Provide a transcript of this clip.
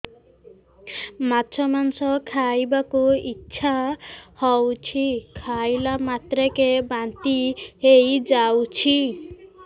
ମାଛ ମାଂସ ଖାଇ ବାକୁ ଇଚ୍ଛା ହଉଛି ଖାଇଲା ମାତ୍ରକେ ବାନ୍ତି ହେଇଯାଉଛି